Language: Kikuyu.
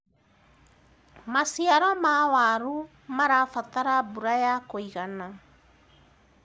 maciaro ma waru marabatara mbura ya kũigana